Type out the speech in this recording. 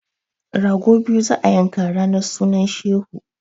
Rago biyu za a yanka ranar sunan shehu!